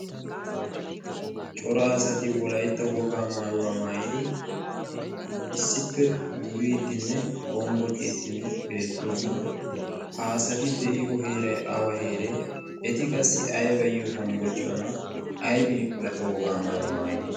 cora asati wolaitta wogaa maayuwaa maayidi issippe duriiddin ne hombbociiddinne beettoosona .ha asati de7iyo heerai awa heeree .eti qassi aibayyo hombbociyona? aibi wolaitta wogaa maayuwaa maayidi?